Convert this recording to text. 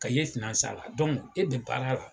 Ka ye fila san la dɔnku e bɛ baara la